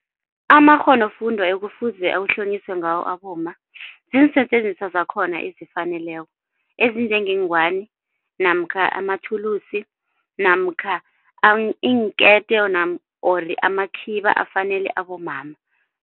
Amakghonofundwa ekufuze awuhlonyiswe ngawo abomma, ziinsetjenziswa zakhona ezifaneleko. Ezinjengeengwani namkha amathulusi namkha iinkete or amakhiba afanele abomama.